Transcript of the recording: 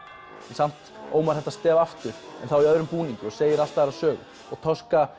samt Ómar þetta stef aftur en þá í öðrum búningi og segir allt aðra sögu